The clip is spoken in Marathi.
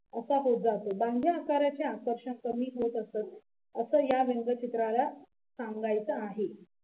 असं या व्यंगचित्राला सांगायचं आहे